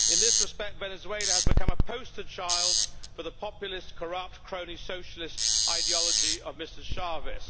In this respect, Venezuela has become a poster child for the populist, corrupt, crony, socialist ideology of Mr Chávez.